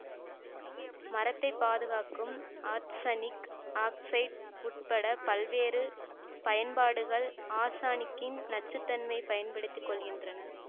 மரத்தைப் பாதுகாக்கும் arsenic oxide உட்பட பல்வேறு பயன்பாடுகள் ஆர்சனிக்கின் நச்சுத்தன்மையை பயன்படுத்தி கொள்கின்றன